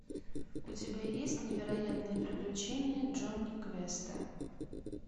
у тебя есть невероятные приключения джонни квеста